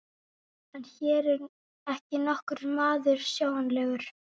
En hér er ekki nokkur maður sjáanlegur.